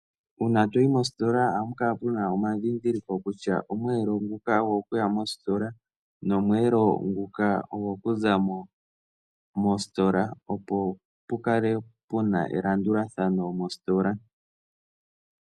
Uuna toyi mositola ohàpu kala puna omandhindhiliko kutya omweelelo nguka ogo kuyamo nguno ogo kuzamo, opo mu kale elandulathano.